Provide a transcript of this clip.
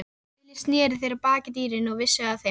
Stulli sneri þegar baki í dýrin og vissi að þeim